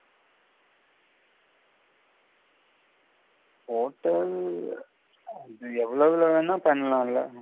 hotel எவ்வளவு வென்னாலும் பண்ணலாம் இல்ல